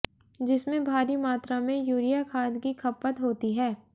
जिसमें भारी मात्रा में यूरिया खाद की खपत होती है